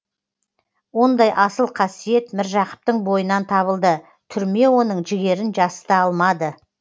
ондай асыл қасиет міржақыптың бойынан табылды түрме оның жігерін жасыта алмады